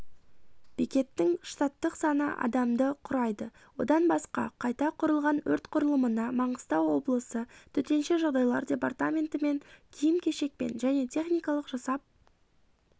бекеттің штаттық саны адамды құрайды одан басқа қайта құрылған өрт құрылымына маңғыстау облысы төтенше жағдайлар департаментімен киім кешекпен және техникалық жасап